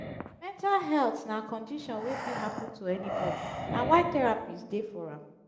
mental health na condision wey fit hapun to anybodi na why therapist dey for am